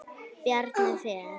Bjarni Fel.